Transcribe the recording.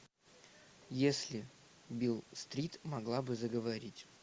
если бил стрит могла бы заговорить